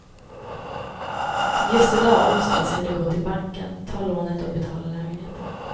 Just i dag onsdag ska de gå till banken, ta lånet och betala lägenheten.